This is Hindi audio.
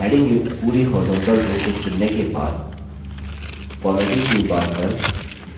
headings युक्त पूरी horizontal row को चुनने के बाद formatting toolbar पर